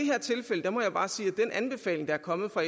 anbefaling der er kommet fra